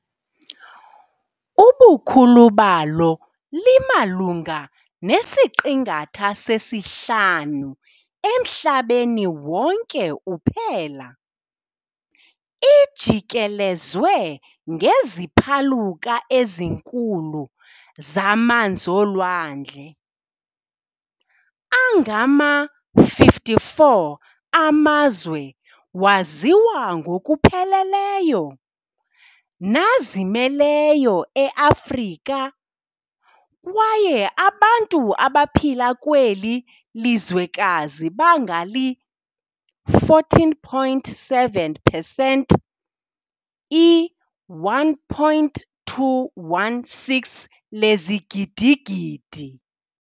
Ubukhulubalo limalunga nesiqingatha sesihlanu emhlabeni wonke uphela. lijikelelzwe ngeziphaluka ezinkulu zamanz'olwandle. Angama-54 amazwe waziwa ngokupheleleyo, nazimeleyo e-Afrika, kwaye abantu abaphila kweli lizwekazi bangali-14.7percent, i-1.216 lezigidigidi.